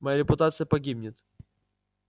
моя репутация погибнет